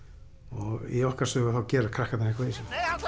og í okkur sögu gera krakkarnir eitthvað í